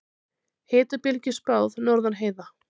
Hitabylgju spáð norðan heiða